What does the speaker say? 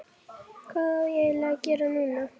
Hvað á ég eiginlega að gera núna???